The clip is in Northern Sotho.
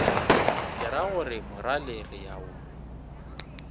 keragore morale re a o